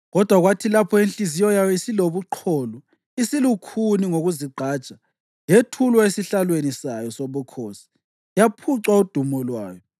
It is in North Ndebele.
Kodwa kwathi lapho inhliziyo yayo isilobuqholo, isilukhuni ngokuzigqaja yethulwa esihlalweni sayo sobukhosi yaphucwa udumo lwayo.